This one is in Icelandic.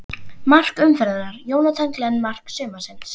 Mark umferðarinnar: Jonathan Glenn Mark sumarsins?